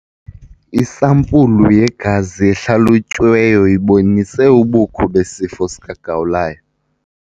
Isampulu yegazi ehlalutyiweyo ibonise ubukho besifo sikagawulayo.